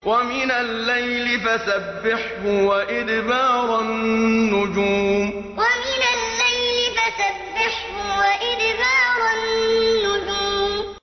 وَمِنَ اللَّيْلِ فَسَبِّحْهُ وَإِدْبَارَ النُّجُومِ وَمِنَ اللَّيْلِ فَسَبِّحْهُ وَإِدْبَارَ النُّجُومِ